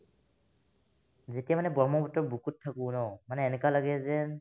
যেতিয়া মানে ব্ৰহ্মপুত্ৰৰ বুকুত থাকো ন মানে এনেকুৱা লাগে যেন